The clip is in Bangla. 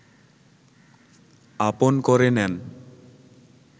আপন করে নেন